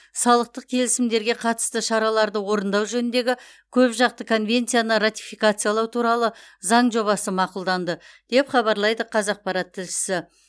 салықтық келісімдерге қатысты шараларды орындау жөніндегі көпжақты конвенцияны ратификациялау туралы заң жобасы мақұлданды деп хабарлайды қазақпарат тілшісі